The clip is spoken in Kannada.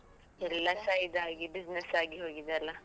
ಎಲ್ಲಸ ಇದಾಗಿ business ಆಗಿ ಹೋಗಿದೆ ಅಲ್ಲಾ?